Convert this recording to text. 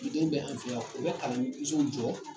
bɛ an fɛ yan o bɛ kalansow jɔ